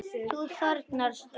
Þú þornar strax.